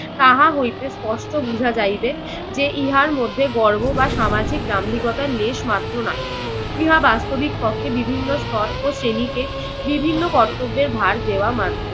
তাহা হইতে স্পষ্ট বুঝা যাইবে যে ইহার মধ্যে গর্ব বা সামাজিক দাম্ভিকতার লেশ মাত্র নাই। ইহা বাস্তবিক পক্ষে বিভিন্ন স্তর ও শ্রেণীকে বিভিন্ন কর্তব্যের ভার দেওয়া মাত্র।